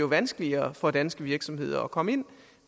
vanskeligere for danske virksomheder at komme ind